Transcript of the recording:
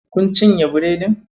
Kun cinye biredin?